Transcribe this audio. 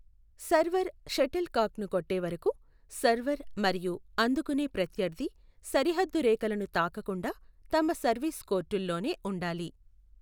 Server షటిల్కాక్ను కొట్టే వరకు సర్వర్ మరియు అందుకునే ప్రత్యర్థి సరిహద్దు రేఖలను తాకకుండా తమ సర్వీస్ కోర్టుల్లోనే ఉండాలి.